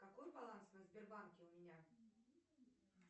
какой баланс на сбербанке у меня